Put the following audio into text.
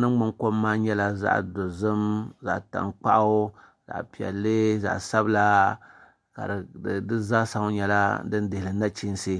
ningbuni kom maa nyɛla zaŋ dozim zaɣ tankpaɣu zaɣ piɛlli zaɣ sabila di zaa sa ŋɔ nyɛla din dihiri nachiinsi